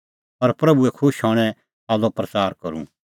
और प्रभूए खुश हणें सालो प्रच़ार करूं